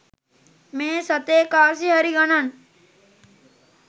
මේ සතේ කාසි හරි ගණන්.